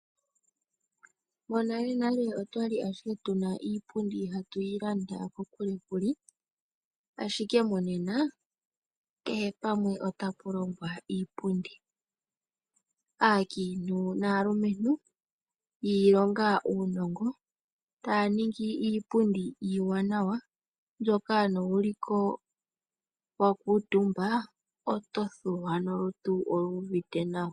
Monalenale otwa ashike tu na iipundi hatu yi landa kokule kule, ashike monena, kehe pamwe ota pu longwa iipundi. Aakiintu naalumentu yi ilonga uunongo, ta ya ningi iipundi iiwanawa, mbyoka no wu liko wakuuntumba, oto thuwa, nolutu oluuvite nawa.